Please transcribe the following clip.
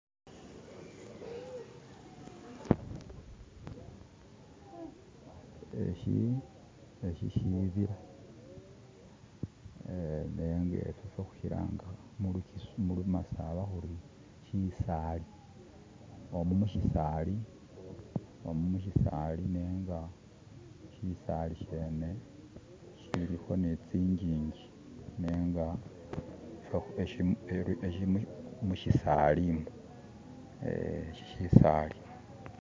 eshi shibila nenga hushilanga mulumasaba huri shisali, omu mushisali nenga shisali shene shiliho nitsinjinji, nenga mushisalimu, shi shisali.